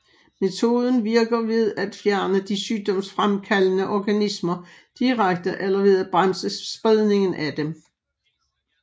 Metoden virker ved at fjerne de sygdomsfremkaldende organismer direkte eller ved at bremse spredningen af dem